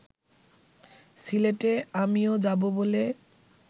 সিলেটে আমিও যাব বলে